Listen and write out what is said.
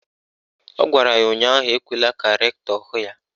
Ọ gwara ya ụnyaahụ "Ekwela ka rektọ hụ ya"!